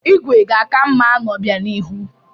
Igwe ga-aka mma n'obịanihu.